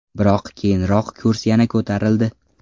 Biroq keyinroq kurs yana ko‘tarildi.